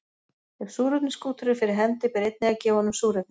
Ef súrefniskútur er fyrir hendi ber einnig að gefa honum súrefni.